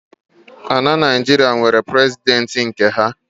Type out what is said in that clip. Ala Naịjiria nwere President nke ha